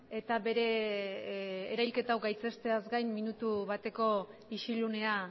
eta bere erahilketa hau gaitzesteaz gain minutu bateko isilunea